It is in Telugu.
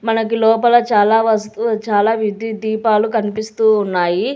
మనకి లోపల చాలా వస్తువు చాలా విద్యుత్ దీపాలు కనిపిస్తూ ఉన్నాయి.